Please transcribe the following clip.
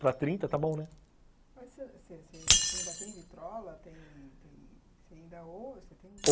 Para trinta está bom , né? Você você ainda tem vitrola?